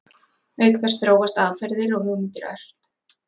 Auk þess þróast aðferðir og hugmyndir ört.